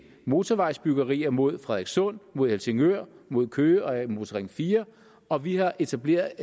motorvejsbyggerier mod frederikssund mod helsingør og mod køge og til en motorring fire og vi har etableret